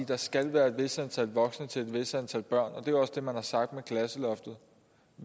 der skal være et vist antal voksne til et vist antal børn og det er også det man har sagt med klasseloftet